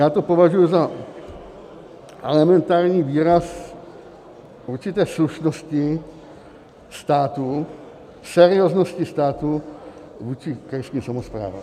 Já to považuju za elementární výraz určité slušnosti státu, serióznosti státu vůči krajským samosprávám.